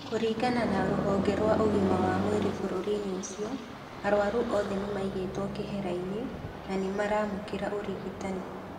Kũringana na rũhonge rwa ũgima wa mwĩrĩ bũrũri-inĩ ũcio, arwaru othe nĩmaigĩtwo kehera-inĩ na nĩ maraamũkĩra ũrigitani.